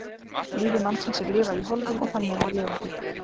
Lífi mannsins er lifað í hólfum og þannig á að lifa því.